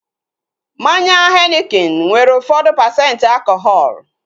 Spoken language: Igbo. Mmanya henikin nwere ụfọdụ pasenti alkọhọl